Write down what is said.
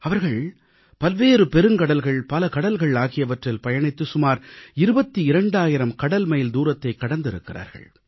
அவர்கள் பல்வேறு பெருங்கடல்கள் பல கடல்கள் ஆகியவற்றில் பயணித்து சுமார் 22000 கடல்மைல் தூரத்தைக் கடந்திருக்கிறார்கள்